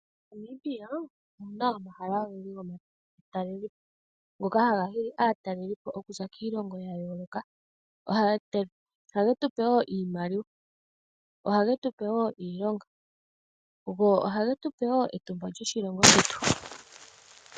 MoNamibia omuna omahala ogendji gomatalel ngoka hanga hili aataleli okuza kiilonga yayoloka, ohage tupe woo iimaliwa, ohage tupe woo iilonga, go ohage tupe woo etumba lyoshilongo shetu.